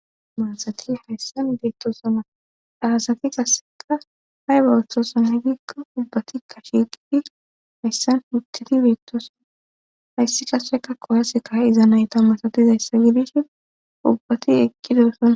Maansati hayssan beettosona daasati kasseka hay bawuththosana giikko ubbati kasheqifi hayssan hudteti beettosona hayssi kasseka kowaase kaha izanayta masatizayssa gidish ubbati ekideesonna.